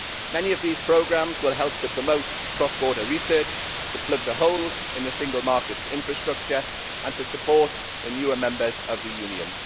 Many of these programmes will help to promote cross border research, to plug the holes in the single market's infrastructure and to support the newer members of the Union.